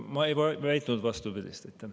Ma ei väitnud vastupidist.